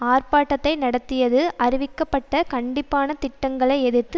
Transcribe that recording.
ஆர்ப்பாட்டத்தை நடத்தியது அறிவிக்கப்பட்ட கண்டிப்பான திட்டங்களை எதிர்த்து